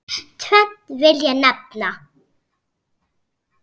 Tvennt vil ég nefna.